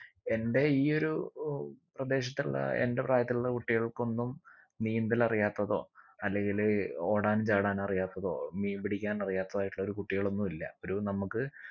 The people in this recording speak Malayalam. എന്റെ ഈ ഒരു ഒ പ്രദേശത്തുള്ള എന്റെ പ്രായത്തിലുള്ള കുട്ടികൾക്കൊന്നും നീന്തലറിയാത്തതോ അല്ലെങ്കില് ഓടാനും ചാടാനു അറിയാത്തതോ മീൻ പിടിക്കാൻ അറിയാത്തതോ ആയിട്ടുള്ള ഒരു കുട്ടികളൊന്നു ഇല്ല ഒരു നമ്മക്ക്